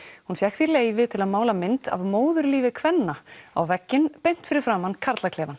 hún fékk því leyfi til að mála mynd af móðurlífi kvenna á vegginn beint fyrir framan